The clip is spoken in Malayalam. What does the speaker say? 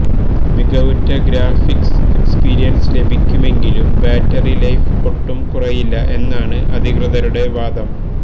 മികവുറ്റ ഗ്രാഫിക്സ് എക്സ്പീരിയന്സ് ലഭിക്കുമെങ്കിലും ബാറ്ററി ലൈഫ് ഒട്ടും കുറയില്ല എന്നാണ് അധികൃതരുടെ വാദം